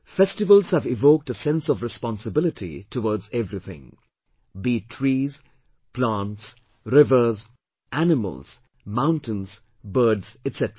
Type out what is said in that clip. Festivals have evoked a sense of responsibility towards everything, be it trees, plants, rivers, animals, mountains, birds, etc